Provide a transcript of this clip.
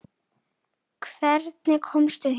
Hvernig komstu hingað?